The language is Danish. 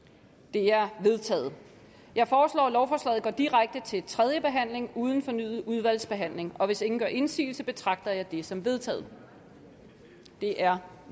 de er vedtaget jeg foreslår at lovforslaget går direkte til tredje behandling uden fornyet udvalgsbehandling hvis ingen gør indsigelse betragter jeg det som vedtaget det er